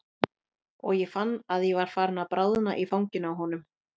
Og ég fann að ég var farin að bráðna í fanginu á honum.